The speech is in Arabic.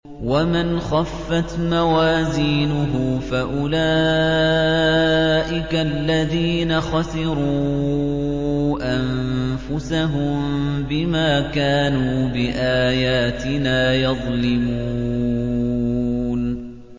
وَمَنْ خَفَّتْ مَوَازِينُهُ فَأُولَٰئِكَ الَّذِينَ خَسِرُوا أَنفُسَهُم بِمَا كَانُوا بِآيَاتِنَا يَظْلِمُونَ